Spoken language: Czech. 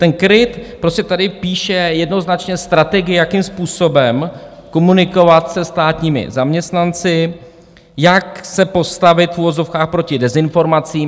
Ten KRIT prostě tady píše jednoznačně strategii, jakým způsobem komunikovat se státními zaměstnanci, jak se postavit, v uvozovkách, proti dezinformacím.